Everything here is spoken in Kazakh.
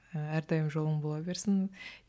әрдайым жолың бола берсін